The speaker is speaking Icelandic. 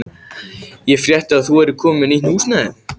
Ég frétti að þú værir komin með nýtt húsnæði.